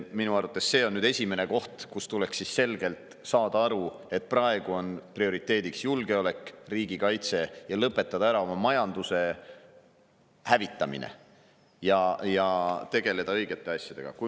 Minu arvates see on esimene koht, kus tuleks selgelt saada aru, et praegune prioriteet on julgeolek, riigikaitse, ning lõpetada ära oma majanduse hävitamine ja tegeleda õigete asjadega.